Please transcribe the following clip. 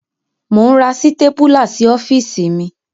Mò ń ra sítépúlá sí ọ́fíìsì mi.